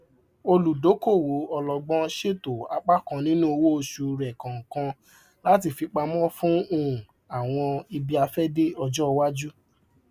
olùdókòwò ọlọgbọn ṣètò apá kan nínú owóoṣù rẹ kọọkan láti fipamọ fún um àwọn ibiafẹdé ọjọ iwájú